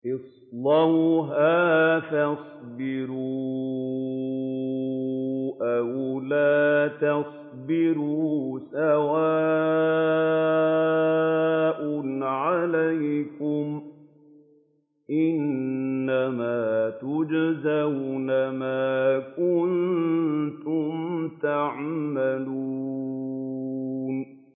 اصْلَوْهَا فَاصْبِرُوا أَوْ لَا تَصْبِرُوا سَوَاءٌ عَلَيْكُمْ ۖ إِنَّمَا تُجْزَوْنَ مَا كُنتُمْ تَعْمَلُونَ